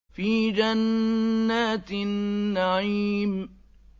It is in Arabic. فِي جَنَّاتِ النَّعِيمِ